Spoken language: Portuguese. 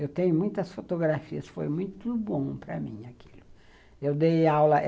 Eu tenho muitas fotografias, foi muito bom para mim aquilo. Eu dei aula